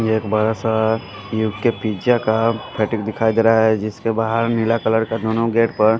यह एक बड़ा सा यूके पिज़्ज़ा का फैटिक दिखाई दे रहा है जिसके बाहर नीला कलर का दोनों गेट पर--